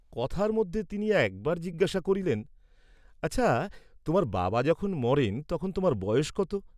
কথার মধ্যে তিনি একবার জিজ্ঞাসা করিলেন, "আচ্ছা, তোমার বাবা যখন মরেন তখন তোমার বয়স কত?"